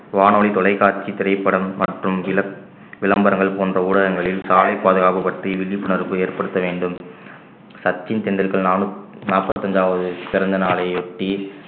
வானொலி தொலைக்காட்சி திரைப்படம் மற்றும் விள~ விளம்பரங்கள் போன்ற ஊடகங்களில் சாலை பாதுகாப்பு பற்றிய விழிப்புணர்வு ஏற்படுத்த வேண்டும் சச்சின் டெண்டுல்கர் நாலும் நாற்பத்தி ஐந்தாவது பிறந்தநாளை ஒட்டி